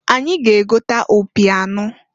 Anyị ga-egota opi anọọ.